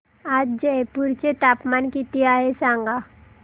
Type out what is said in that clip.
आज जयपूर चे तापमान किती आहे सांगा